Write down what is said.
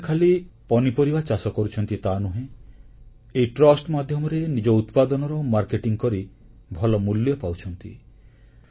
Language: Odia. ଆଜି ସେମାନେ ଖାଲି ପନିପରିବା ଚାଷ କରୁଛନ୍ତି ତାନୁହେଁ ଏହି ଟ୍ରଷ୍ଟ ମାଧ୍ୟମରେ ନିଜ ଉତ୍ପାଦନର ମାର୍କେଟିଂ କରି ଭଲ ମୂଲ୍ୟ ପାଉଛନ୍ତି